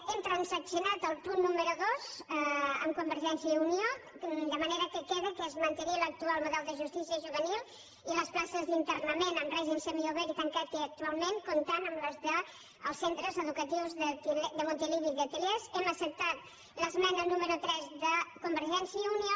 hem transaccionat el punt número dos amb convergència i unió de manera que queda que és mantenir l’actual model de justícia juvenil i les places d’internament en règim semiobert i tancat que hi ha actualment comptant amb les dels centres educatius de montilivi i de tilhem acceptat l’esmena número tres de convergència i unió